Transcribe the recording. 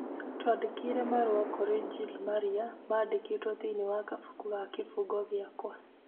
Twandĩkĩre marũa kũrĩ Jill marĩa mandĩkĩtwo thĩinĩ wa kabuku ga kĩbungo gĩakwa